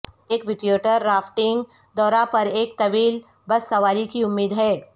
ایک white water rafting دورہ پر ایک طویل بس سواری کی امید ہے